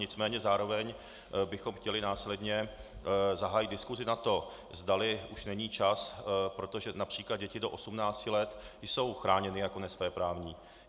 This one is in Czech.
Nicméně zároveň bychom chtěli následně zahájit diskusi na to, zdali už není čas, protože například děti do 18 let jsou chráněny jako nesvéprávné.